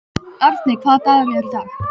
Arney, hvaða dagur er í dag?